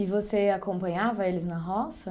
E você acompanhava eles na roça?